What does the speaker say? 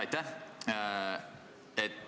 Aitäh!